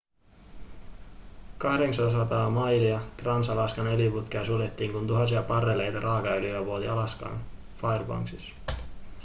800 mailia trans-alaskan öljyputkea suljettiin kun tuhansia barreleita raakaöljyä vuoti alaskan fairbanksissa